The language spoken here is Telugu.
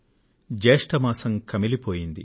జ్యేష్ఠ మాసం బాగా అలిగింది